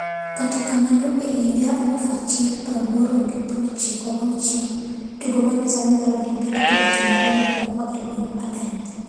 Katakamano e higa 1896,tugo ma nyasani mar Olimpik ne otimore mokwongo e gweng Athens.